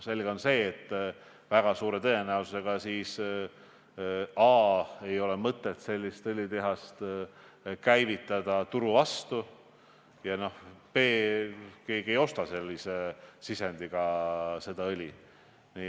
Selge on see, et väga suure tõenäosusega a) ei ole siis mõtet sellist õlitehast käivitada ja b) keegi ei osta sellise sisendiga õli.